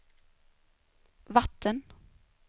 vatten